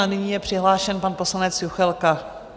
A nyní je přihlášen pan poslanec Juchelka.